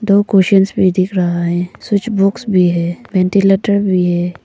दो कोशिन्स भी दिख रहा है स्विच बॉक्स भी है वेंटीलेटर भी है।